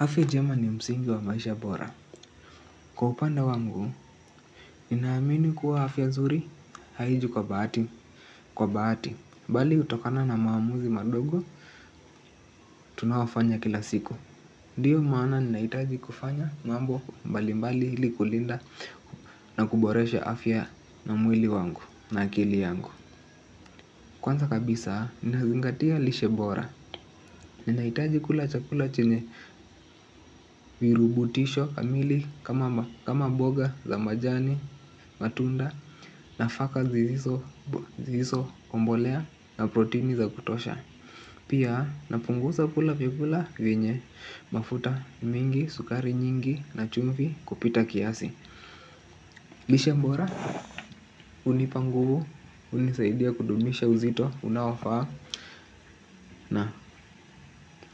Afya njema ni msingi wa maisha bora. Kwa upenda wangu, ninaamini kuwa afya nuri haiji kwa bahati, kwa bahati, bali hutokana na maamuzi madogo, tunayofanya kila siku. Ndio maana ninahitaji kufanya mambo mbali mbali ili kulinda na kuboresha afya na mwili wangu na akili yangu. Kwanza kabisa, nazingatia lishe bora. Ninahitaji kula chakula chenye virutubisho kamili kama mboga za majani, matunda, nafaka zilizo kombolea na protini za kutosha. Pia napunguza kula vyakula vyenye mafuta mingi, sukari nyingi, na chumvi kupita kiasi. Lishe bora hunipa nguvu, hunisaidia kudumisha uzito unaofaa na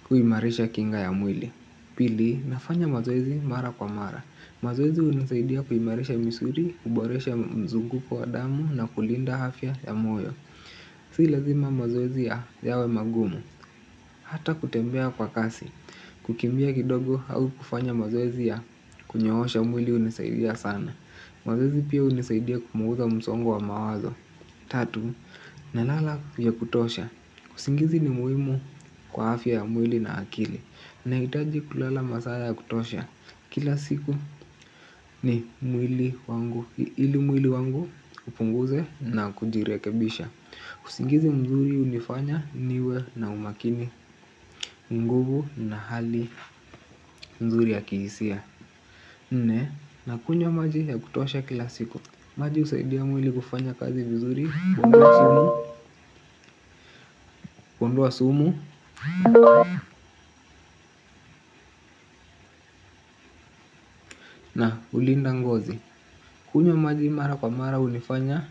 kuimarisha kinga ya mwili. Pili, nafanya mazoezi mara kwa mara. Mazoezi hunisaidia kuimarisha misuri, kuboresha mzunguko wa damu na kulinda afya ya moyo. Si lazima mazoezi yawe magumu. Hata kutembea kwa kasi. Kukimbia kidogo au kufanya mazoezi ya kunyoohosha mwili hunisaidia sana. Mazoezi pia hunisaidia kupunguza msongo wa mawazo. Tatu, nalala ya kutosha. Usingizi ni muhimu kwa afya ya mwili na akili. Nahitaji kulala masaa ya kutosha. Kila siku ni mwili wangu. Ili mwili wangu upunguze na kujirekebisha usingizi mzuri hunifanya niwe na umakini, nguvu na hali nzuri ya kihisia. Nne, nakunywa maji ya kutosha kila siku. Maji husaidia mwili kufanya kazi vizuri, kuondoa sumu na hulinda ngozi. Kunywa maji mara kwa mara hunifanya tu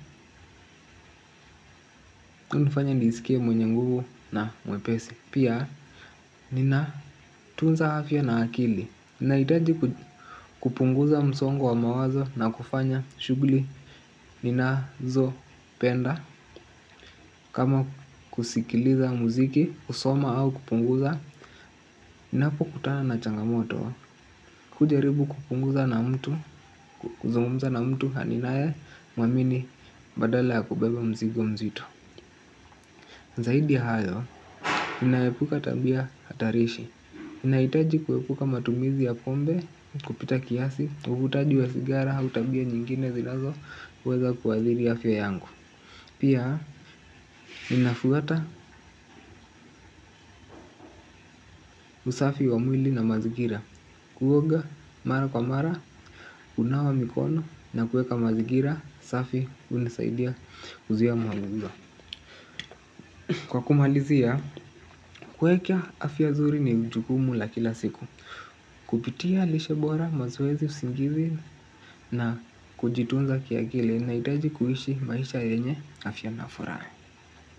hunifanya nisikie mwenye nguvu na mwepesi. Pia ninatunza afya na akili. Nahitaji kupunguza msongo wa mawazo na kufanya shughuli ninazopenda. Kama kusikiliza muziki, kusoma au kupunguza. Ninapokutana na changamoto hujaribu kupunguza na mtu kuzungumza na mtu ninayemuamini badala ya kubeba muzigo mzito. Zaidi ya hayo, ninaepuka tabia hatarishi. Ninahitaji kuepuka matumizi ya pombe kupita kiasi, uvutaji wa sigara, au tabia nyingine zinazoweza kuathiri afya yangu. Pia, ninafuata usafi wa mwili na mazigira, kuoga mara kwa mara, hunawa mikono, na kuweka mazigira, safi hunisaidia kuzuia magonjwa. Kwa kumalizia, kuweka afya nzuri ni jukumu la kila siku. Kupitia lishe bora, mazoezi, usingizi na kujitunza kiakili. Nahitaji kuishi maisha yenye afya na furaha.